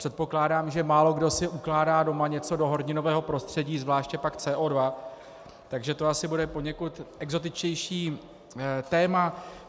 Předpokládám, že málokdo si ukládá doma něco do horninového prostředí, zvláště pak CO2, takže to asi bude poněkud exotičtější téma.